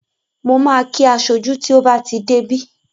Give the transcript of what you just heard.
Mo ma kí aṣojú tí ó bá ti dé bí